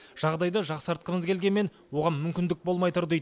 жағдайды жақсартқымыз келгенмен оған мүмкіндік болмай тұр дейді